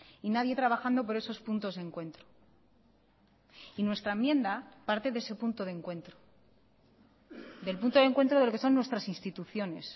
y nadie trabajando por esos puntos de encuentro y nuestra enmienda parte de ese punto de encuentro del punto de encuentro de lo que son nuestras instituciones